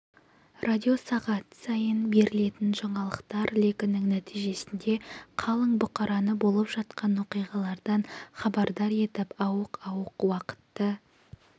радио сағат сайын берілетін жаңалықтар легінің нәтижесінде қалың бұқараны болып жатқан оқиғалардан хабардар етіп ауық-ауық уақытты